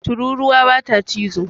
Tururuwa bata cizo